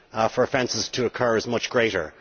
for offences to occur is much greater.